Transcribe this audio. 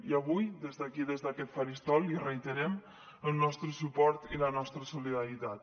i avui des d’aquí des d’aquest faristol li reiterem el nostre suport i la nostra solidaritat